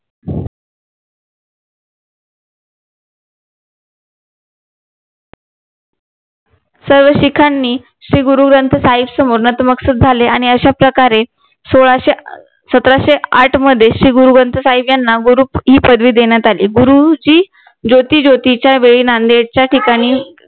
सर्व सीखांनी श्री गुरु ग्रंथ साहिब समोर नतमस्तक झाले आणि अश्या प्रकारे सोळाशे सतराशे आठ मध्ये श्री ग्रंथ साहिब यांना गुरु ही पदवी देण्यात आली गुरुची ज्योती ज्योतीच्या वेळी नांदेडच्या ठिकाणी